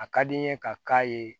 A ka di n ye ka k'a ye